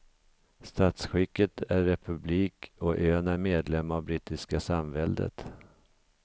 Statsskicket är republik, och ön är medlem av brittiska samväldet.